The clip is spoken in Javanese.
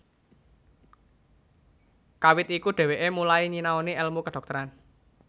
Kawit iku dheweke mulai nyinaoni elmu kedhokteran